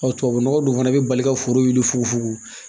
tubabunɔgɔ dun fana bɛ bali ka foro wuli fufugo